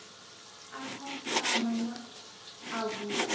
a khasiama na a vhue